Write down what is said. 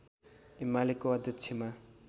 एमालेको अध्यक्षमा